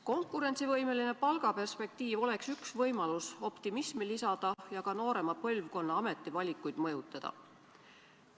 Konkurentsivõimelise palga perspektiiv oleks üks võimalus optimismi lisada ja ka noorema põlvkonna ametivalikuid mõjutada.